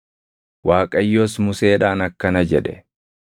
Waaqayyos Museedhaan akkana jedhe;